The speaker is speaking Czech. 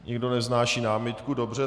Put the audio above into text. Nikdo nevznáší námitku, dobře.